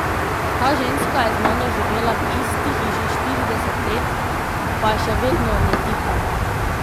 Ta ženska je z mano živela v isti hiši štirideset let, pa je še vedno ne tikam.